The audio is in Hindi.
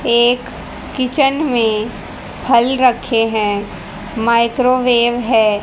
एक किचन में फल रखे हैं माइक्रोवेव है।